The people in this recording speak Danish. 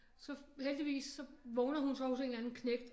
Så heldigvis så vågner hun så hos en eller anden knægt